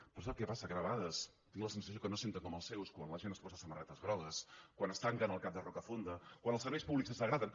però sap què passa que de vegades tinc la sensació que no senten com els seus quan la gent es posa samarretes grogues quan es tanquen al cap de rocafonda quan els serveis públics es degraden